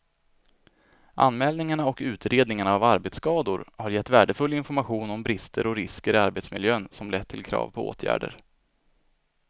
Anmälningarna och utredningarna av arbetsskador har gett värdefull information om brister och risker i arbetsmiljön som lett till krav på åtgärder.